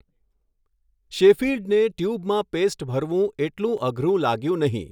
શૅફિલ્ડને ટ્યૂબમાં પેસ્ટ ભરવું એટલું અઘરું લાગ્યું નહીં.